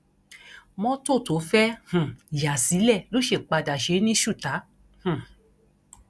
mọtò tó fẹẹ um yà sílẹ ló sì padà ṣe é ní ṣùtá um